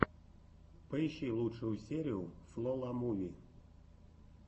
поищи лучшую серию фло ла муви